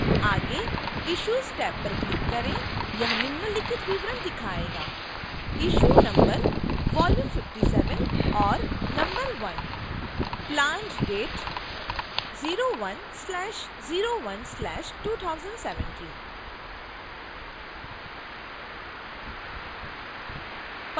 आगे issues tab पर click करें